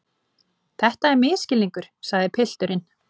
Þetta er misskilningur, sagði pilturinn.